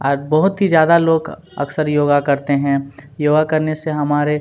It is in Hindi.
आज बोहत ही ज्यादा लोग अक्सर योगा करते हैं योगा करने से हमारे--